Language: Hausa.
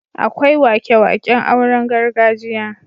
Akwai wake-waken auren gargajiya.